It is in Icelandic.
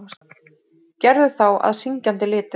Gerðu þá að syngjandi litum.